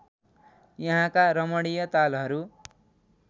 यहाँका रमणीय तालहरू